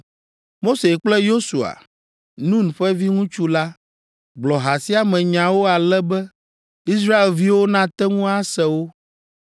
Mose kple Yosua, Nun ƒe viŋutsu la, gblɔ ha sia me nyawo ale be Israelviwo nate ŋu ase wo.